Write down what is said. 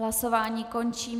Hlasování končím.